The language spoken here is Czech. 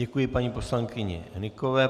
Děkuji paní poslankyni Hnykové.